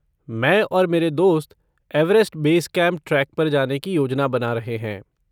मैं और मेरे दोस्त एवरेस्ट बेस कैंप ट्रेक पर जाने की योजना बना रहे हैं।